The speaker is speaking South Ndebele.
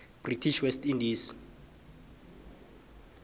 british west indies